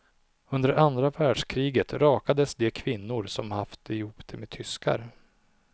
Under andra världkriget rakades de kvinnor som haft ihop det med tyskar.